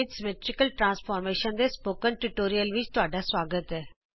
ਜਿੳੇਜੇਬਰਾ ਵਿਚ ਸਮਮਿਤੀ ਰੂਪਾਂਤਰ ਦੇ ਇਸ ਟਯੂਟੋਰਿਅਲ ਵਿਚ ਤੁਹਾਡਾ ਸੁਆਗਤ ਹੈ